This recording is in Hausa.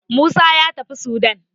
Musa ya tafi Sudan